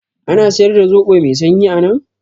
Ana siyar da zoɓo mai sanyi anan?